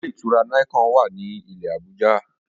Ilé-ìtura Nicon wá ní ilé Abuja